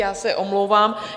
Já se omlouvám.